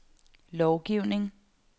lovgivning